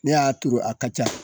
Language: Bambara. Ne y'a turu a ka ca.